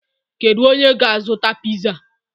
Kedu onye ga-azụta piza?